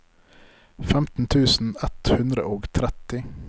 femten tusen ett hundre og tretti